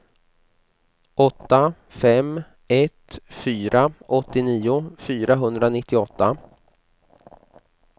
åtta fem ett fyra åttionio fyrahundranittioåtta